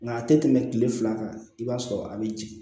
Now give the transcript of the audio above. Nka a tɛ tɛmɛ kile fila kan i b'a sɔrɔ a bɛ jigin